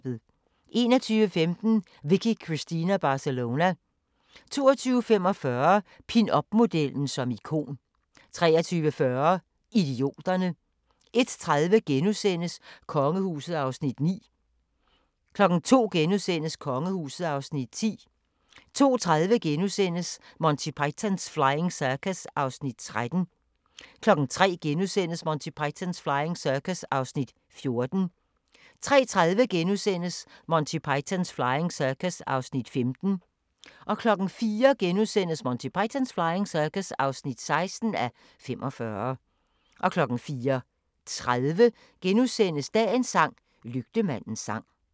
21:15: Vicky Cristina Barcelona 22:45: Pinupmodellen som ikon 23:40: Idioterne 01:30: Kongehuset (Afs. 9)* 02:00: Kongehuset (Afs. 10)* 02:30: Monty Python's Flying Circus (13:45)* 03:00: Monty Python's Flying Circus (14:45)* 03:30: Monty Python's Flying Circus (15:45)* 04:00: Monty Python's Flying Circus (16:45)* 04:30: Dagens sang: Lygtemandens sang *